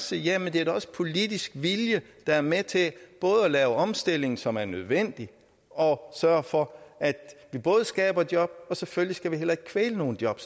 sige ja men det er da også politisk vilje der er med til både at lave omstilling som er nødvendig og sørge for at vi både skaber job og selvfølgelig heller ikke kvæler nogen job